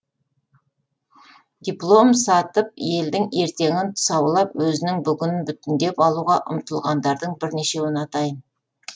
диплом сатып елдің ертеңін тұсаулап өзінің бүгінін бүтіндеп алуға ұмтылғандардың бірнешеуін атайын